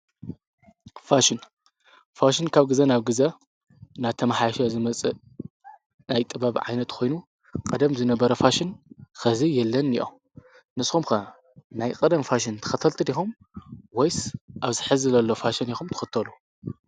ፋሽን ካብ ግዘ ናብ ግዘ እናተመሓየሸ ዝመፅእ ናይ ጥበብ ዓይነት ኮይኑ ቀደም ዝነበረ ፋሽን ሕዚ የለን እኒኦ፡፡ ንስኹም ከ ናይ ቀደም ፋሽን ተኸተልቲ ዲኹም ወይስ ኣብዚ ሕዚ ዘሎ ፋሽን ኢኹም ትኽተሉ?